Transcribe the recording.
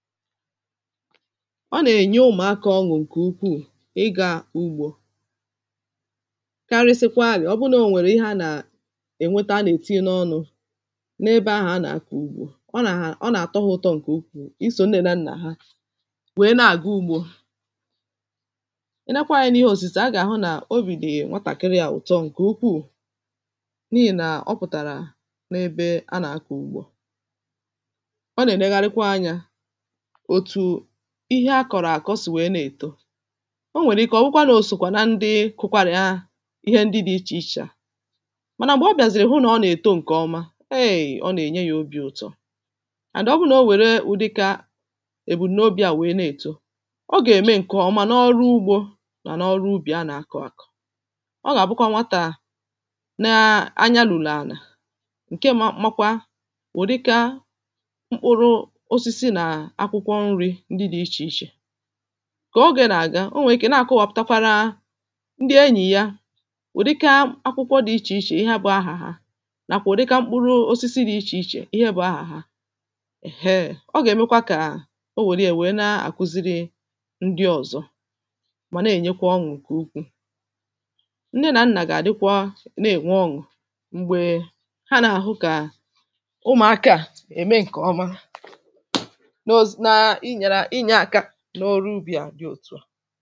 ọ na-ènye ụmụ̀akȧ ọṅụ̀ ǹkè ukwuù ị gȧ-àgbù ugbȯ karịsịkwa àlị̀ ọ bụla ò nwèrè ị hȧ nà ènweta a nà-ètinye n’ọnụ̇ n’ebe ahụ̀ a nà-àkọ̀ ugbȯ ọ nà-àtọhụ ụtọ ǹkè ukwuù, ị sò nnẹ̇nẹ̇ nnà ha wèe na-àgụ ugbȯ ị nakwa anyȧ n’ihe òsìtè a gà-àhụ nà obì dị̀ nwatàkịrị yȧ ụ̀tọ ǹkè ukwuù n’ihì nà ọ pụ̀tàrà n’ebe a nà-àkọ̀ ugbȯ ọ nà-ènye gharịkwa anyȧ ihe akọ̀rọ̀ àkọ̀ o sì wèe na-èto o nwèrè ike ọ̀bụkwa nà òsòkwà na ndị kụkwarị̀ ahụ̀ ihe ndị dị̇ ichè ichè à mànà m̀gbè ọ bịàzìrì hụ nà ọ nà-èto ǹkè ọma hei ọ nà-ènye yȧ obi̇ ụ̀tọ ànọ ọ bụrụ nà o wère ụdịkȧ èbul n’obi à wèe na-èto ọ gà-ème ǹkè ọma n’ọrụ ugbȯ nà n’ọrụ ubì a nà-akọ̇ àkọ̀ ọ gà-àbụkwa nwatà na anyanụ̀lọ̀ ànà ǹke makwa wèdụka kà ogè nà-àga o nwèrè ike na-àkụwọ̀ pụ̀takwara ndị enyì ya wèdịka akwụkwọ dị̇ ichè ichè ihe a bụ̇ ahàhà nà kà wèdịka mkpụrụ osisi dị̇ ichè ichè ihe bụ̇ ahàhà ehee, o gà-èmekwa kà o wère nà-àkuziri ndị ọ̀zọ mà nà-ènyekwa ọṅụ̀ nkè ukwuu ndị nà nnà gà-àdịkwa nà-ènwe ọṅụ̀ m̀gbè ha nà-àhụ kà ụmụ̀aka à ème ǹkè ọma n’ọrụ ubì à dị òtù à